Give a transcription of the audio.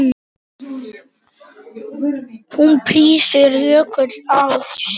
Hún þrýsti Jóku að sér.